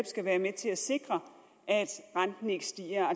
skal være med til at sikre at renten ikke stiger